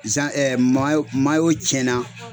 Zan mayo mayo cɛnna